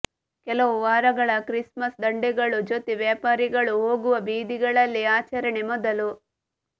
ಕೆಲವು ವಾರಗಳ ಕ್ರಿಸ್ಮಸ್ ದಂಡೆಗಳು ಜೊತೆ ವ್ಯಾಪಾರಿಗಳು ಹೋಗುವ ಬೀದಿಗಳಲ್ಲಿ ಆಚರಣೆ ಮೊದಲು